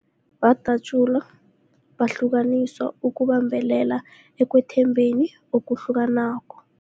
Badatjulwa, bahlukaniswa ukubambelela ekwethembekeni okuhlukanako.